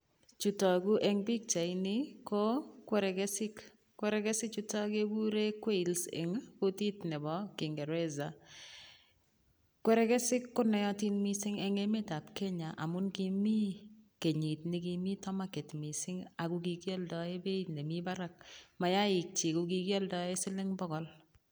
chu tagu eng' pichani ko kwerekesik, kwerekesichutok kekure qails eng kutiit nepo kingeresa. Kwerekesik ko naatin missing' eng' emet ap Kenya amun kimi kenyit nekimite market ,missing ako kikialdaei peiit nemite parak. Mayaik chiik ko kikialdaei siling' pokol.